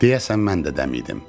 Deyəsən mən də dəmidim.